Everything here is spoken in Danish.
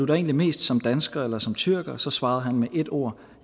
egentlig mest som dansker eller som tyrker og så svarede han med ét ord